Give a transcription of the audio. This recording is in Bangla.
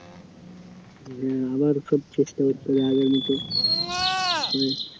হ্যাঁ আবার সব চেষ্টা করতে হবে আগের মতো